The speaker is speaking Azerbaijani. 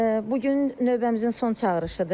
Bu gün növbəmizin son çağırışıdır.